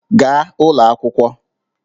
Gaa ụlọ akwụkwọ!